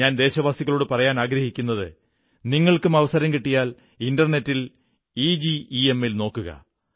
ഞാൻ ദേശവാസികളോടു പറയാനാഗ്രഹിക്കുന്നത് നിങ്ങൾക്കും അവസരം കിട്ടിയാൽ ഇന്റർനെറ്റിൽ ഇജെമ്മിൽ നോക്കുക